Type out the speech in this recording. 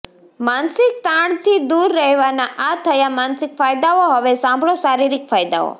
માનસિક તાણથી દૂર રેહવાના આ થયા માનસિક ફાયદાઓ હવે સાંભળો શારીરિક ફાયદાઓ